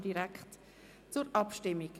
Wir kommen zur Abstimmung.